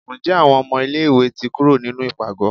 nje awọn ọmọ ilẹ̀ ìwé tí kúrò nínú ipágọ?